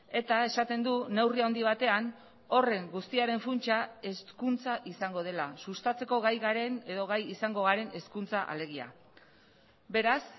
eta esaten du neurri handi batean horren guztiaren funtsa hezkuntza izango dela sustatzeko gai garen edo gai izango garen hezkuntza alegia beraz